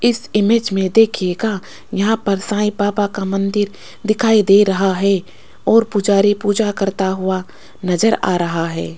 इस इमेज में देखिएगा यहां पर साइ बाबा का मंदिर दिखाई दे रहा है और पुजारी पूजा करता हुआ नजर आ रहा है।